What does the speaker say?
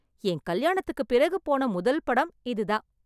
என் கல்யாணத்துக்கு பிறகு போன முதல் படம் இதுதான்.